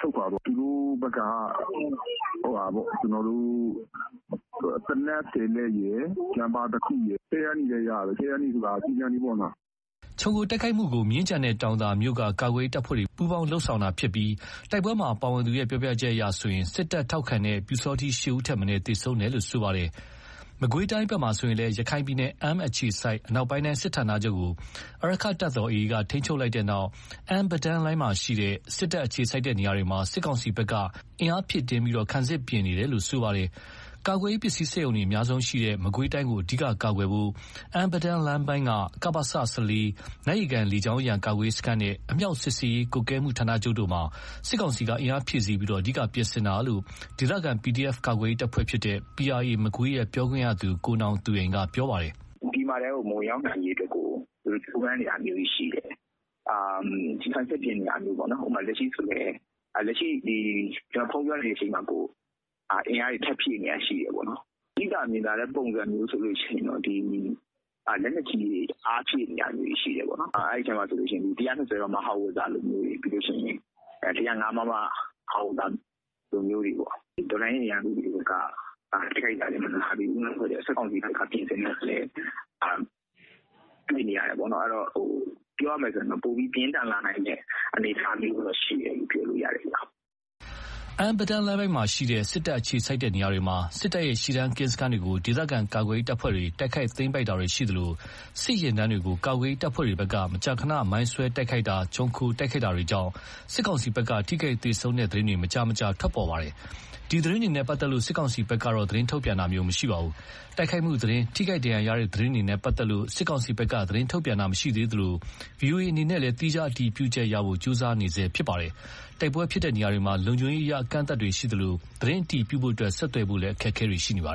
ဆုတ်ခွါသွားတယ်။ သူတို့ဘက်က ကျွန်တော်တို့ သေနတ် ၁၀ လက်ရယ် ကြားဖြတ်ဟန့်တားစက် တခုရယ် ခဲယမ်းတွေလည်း ရတယ်။ ခဲယမ်းဆိုတာ ကျည်ဆံတွေပေါ့နော်။" ခြုံခိုတိုက်ခိုက်မှုကို မြင်းခြံနဲ့တောင်သာမြို့တို့က ကာကွယ်ရေး တပ်ဖွဲ့တွေ ပူးပေါင်းတိုက်ခိုက်ခဲ့ပြီး တိုက်ပွဲမှာ ပါဝင်သူပြောပြချက်အရ စစ်တပ်ထောက်ခံသူ ပျူစောထီး ၈ ဦးသေဆုံးပြီး နောက်ထပ် သေဆုံးသူတွေ ရှိနိုင်တယ်လို့ ဆိုပါတယ်။ မကွေးတိုင်းဘက်မှာဆိုရင်လည်း ရခိုင်ပြည်နယ် အမ်းအခြေစိုက် အနောက်ပိုင်းတိုင်း စစ်ဌာနချုပ်ကို အာရက္ခတပ်တော် က ထိန်းချုပ်လိုက်ပြီးနောက် အမ်း-ပဒါန်းလမ်းပိုင်းမှာရှိတဲ့ စစ်တပ် အခြေစိုက်တဲ့နေရာတွေမှာ စစ်ကောင်စီဘက်က အင်အားဖြည့်တင်းပြီး ခံစစ်ပြင်ဆင်တာတွေ လုပ်ဆောင်နေပါတယ်။ ကာကွယ်ရေး ပစ္စည်းစက်ရုံတွေ အများဆုံးရှိတဲ့ မကွေးတိုင်းကို အဓိက ကာကွယ်ဖို့အတွက် အမ်း - ပဒါန်းလမ်းပိုင်းက ကပစ ၊ နတ်ရေကန် လေကြောင်းရန် ကာကွယ်ရေးစခန်းနဲ့ အမြှောက်စစ်ဆင်ရေး ကွပ်ကဲမှု ဌာနချုပ် တို့မှာ စစ်ကောင်စီက အင်အားဖြည့်ဆီးပြီး အဓိက ပြင်ဆင်နေတာလို့ ဒေသခံ PDF ကာကွယ်ရေး တပ်ဖွဲ့ဖြစ်တဲ့ PRA ရဲ့ ပြောရေးဆိုခွင့်ရှိသူ ကိုနောင်သူရိန်က ပြောပါတယ်။ "ပြည်မထဲကို မဝင်ရောက်နိုင်ရေး ကြိုးပမ်းနေတာမျိုးတွေရှိတယ်။ ခံစစ်ပြင်နေတာမျိုးပေါ့နော်။ လက်ရှိဆိုရင် ဖုန်းပြောနေရင်းမှာကို အင်အားတွေ ထပ်ဖြည့်နေတာမျိုးတွေရှိတယ်။ သိသာမြင်သာတဲ့ ပုံစံမျိုးဆိုရင်လက်နက်ကြီးတွေ အားဖြည့်နေတာမျိုးတွေ ရှိတယ်ပေါ့နော်။ အဲ့ထဲမှာဆိုရင် ၁၂၀ မမ ဟောင်ဝှစ်ဇာမျိုးတွေ ၁၀၅ မမ ဟောင်ဝှစ်ဇာမျိုးတွေ တော်လှန်ရေး အင်အားစုတွေဘက်က တိုက်ခိုက်တာမျိုးတွေက မနားသေးဘူး။ စစ်ကောင်စီဘက်ကလည်း ပြင်ဆင်တာ မနားသေးဘူးဆိုတော့ ပိုပြီး ပြင်းထန်လာမယ့် အလားအလာမျိုးတွေရှိနေတယ်။" အမ်း-ပဒါန်းလမ်းပိုင်းမှာရှိတဲ့ စစ်တပ် အခြေစိုက်တဲ့နေရာတွေမှာ စစ်တပ်ရဲ့ ရှေ့တန်း ကင်းစခန်းတွေကို ဒေသခံ ကာကွယ်ရေး တပ်ဖွဲ့တွေ တိုက်ခိုက်သိမ်းပိုက်တာတွေရှိသလို စစ်ယာဉ်တန်းတွေကို ကာကွယ်ရေး တပ်ဖွဲ့တွေဘက်က မကြာခဏဆိုသလို မိုင်းဆွဲတိုက်ခိုက်တာ ခြုံခိုတိုက်ခိုက်တာတွေကြောင့် စစ်ကောင်စီဘက်က ထိခိုက်သေဆုံးတဲ့ သတင်းတွေလည်း မကြာခဏ ထွက်ပေါ်နေပါတယ်။ ဒီသတင်းတွေနဲ့ ပတ်သက်လို့ စစ်ကောင်စီဘက်က သတင်းထုတ်ပြန်တာတော့ မရှိပါဘူး။ တိုက်ခိုက်မှုသတင်း၊ ထိခိုက်ဒဏ်ရာရတဲ့ သတင်းတွေနဲ့ ပတ်သက်ပြီး စစ်ကောင်စီဘက်က သတင်းထုတ်ပြန်တာမရှိသေးသလို ဗွီအိုအေအနေနဲ့ သီးခြား အတည်ပြုချက် ရဖို့ ကြိုးစားနေဆဲ ဖြစ်ပါတယ်။ တိုက်ပွဲဖြစ်ပွားရာနေရာတွေမှာ လုံခြုရေးအရ အကန့်အသတ်တွေရှိသလို သတင်းအတည်ပြုဖို့အတွက် ဆက်သွယ်ဖို့လည်း အခက်အခဲတွေ ရှိနေပါတယ်